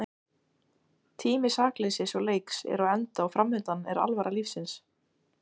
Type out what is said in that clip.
Í náttúrunni koma aðeins fyrir litlausar samsetningar af kvörkum.